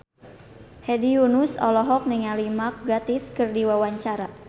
Hedi Yunus olohok ningali Mark Gatiss keur diwawancara